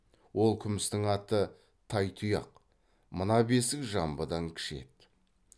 ол күмістің аты тайтұяқ мына бесік жамбыдан кіші еді